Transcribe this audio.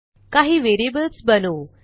काही व्हेरिएबल्स बनवू